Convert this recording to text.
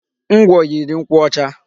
Ngwọ yiri nkwụ ọcha.